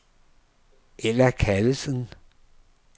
Ella Callesen